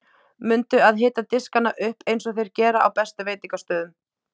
Mundu að hita diskana upp eins og þeir gera á bestu veitingastöðum.